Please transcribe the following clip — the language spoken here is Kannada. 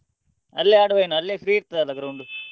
Speaker 1 ಅಲ್ಲೇ ಆಡುವನಾ ಏನು ಅಲ್ಲೇ free ಇರ್ತದೆ ಅಲ್ಲ ground .